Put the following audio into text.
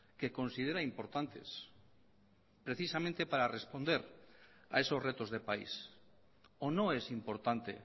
que considera importantes precisamente para responder a esos retos de país o no es importante